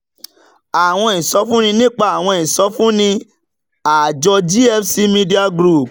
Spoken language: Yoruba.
àwọn ìsọfúnni nípa àwọn ìsọfúnni nípa àjọ gfc media group